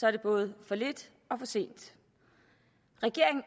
er det både for lidt og for sent regeringen